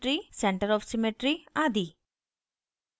center of symmetry आदि